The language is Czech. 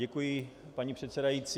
Děkuji, paní předsedající.